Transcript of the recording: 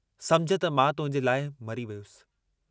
समुझ त मां तुहिंजे लाइ मरी वियुसि।